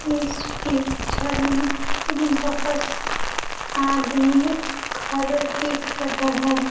इस पिक्चर में बहुत आदमी खरे दिख रहे हैं।